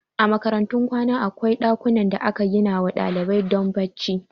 A makarantun kwana akwai ɗakuna da aka ginawa ɗalibai don bacci